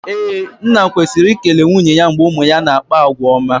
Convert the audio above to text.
Ee, nna kwesiri i ekele nwunye ya mgbe ụmụ ya na-akpa àgwà ọma